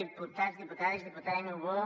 diputats diputades diputada niubó